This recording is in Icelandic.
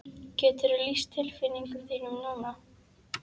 Geturðu lýst tilfinningum þínum núna?